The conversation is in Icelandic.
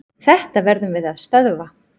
Þetta verðum við að stöðva.